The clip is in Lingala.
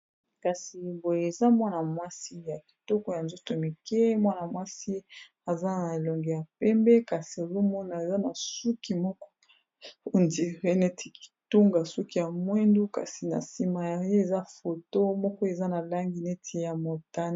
kasi boyo eza mwana-mwasi ya kitoko ya njosto mike mwana mwasi aza na elongo ya pembe kasi ezomona eza na suki moko ondire neti kitunga suki ya mwendu kasi na nsima ya ye eza foto moko eza na langi neti ya montana